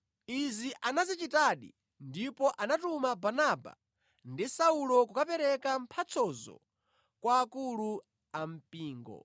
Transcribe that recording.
Izi anazichitadi ndipo anatuma Barnaba ndi Saulo kukapereka mphatsozo kwa akulu a mpingo.